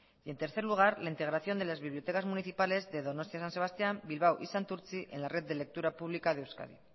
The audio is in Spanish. y en tercer lugar la integración de las bibliotecas municipales de donostia san sebastián bilbao y santurtzi en la red de lectura pública de euskadi